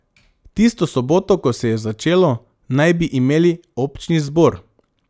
Tisto soboto, ko se je začelo, naj bi imeli občni zbor.